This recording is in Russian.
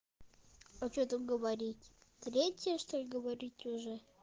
а что тут говорить третье что-ли говорить уже